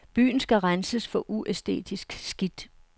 Byen skal renses for uæstetisk skidt.